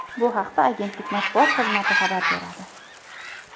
Bu haqda agentlik matbuot xizmati xabar beradi .